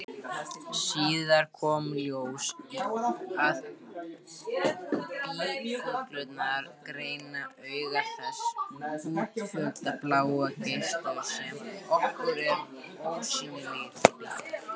Síðar kom í ljós að býflugurnar greina auk þess útfjólubláa geisla, sem okkur eru ósýnilegir.